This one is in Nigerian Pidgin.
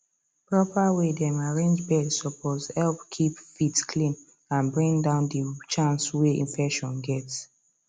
proper way dem arrange bed suppose help keep feet clean and bring down the chance way infection get